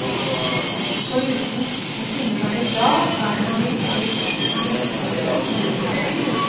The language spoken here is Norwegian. For uten å kunne være glad er man jo ikke noe følt menneske.